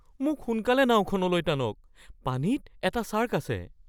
মোক সোনকালে নাওখনলৈ টানক, পানীত এটা ছাৰ্ক আছে।